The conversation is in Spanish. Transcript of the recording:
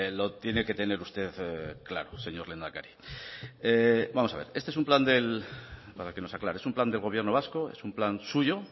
lo tiene que tener usted claro señor lehendakari vamos a ver este es un plan del para que nos aclare es un plan del gobierno vasco es un plan suyo